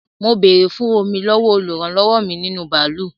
Mo béèrè fún Omi lọ́wọ́ olúrannilọ́wọ́ nínú bàálù